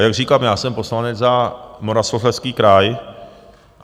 A jak říkám, já jsem poslanec za Moravskoslezský kraj.